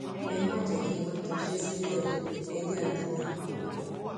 ẹ má jẹ kí wọn daṣẹ sílẹ o ẹ yáa tètè pè wọn padà